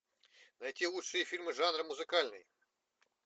найти лучшие фильмы жанра музыкальный